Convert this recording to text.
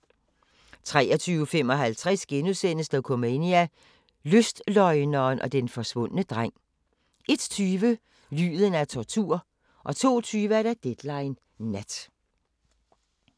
23:55: Dokumania: Lystløgneren og den forsvundne dreng * 01:20: Lyden af tortur 02:20: Deadline Nat